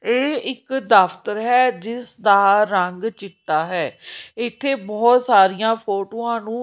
ਇਹ ਇੱਕ ਦਫ਼ਤਰ ਹੈ ਜਿਸ ਦਾ ਰੰਗ ਚਿੱਟਾ ਹੈ ਇੱਥੇ ਬਹੁਤ ਸਾਰੀਆਂ ਫੋਟੋਆਂ ਨੂੰ--